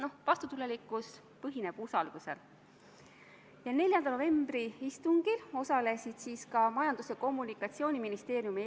Olgu veel öeldud, et kõnealusel Euroopa Liidu väljaõppemissioonil osaleb kokku tervenisti 27 riiki.